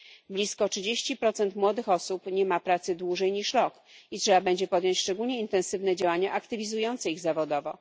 Blisko 30 młodych osób nie ma pracy dłużej niż rok i trzeba będzie podjąć szczególnie intensywne działania aktywizujące ich zawodowo.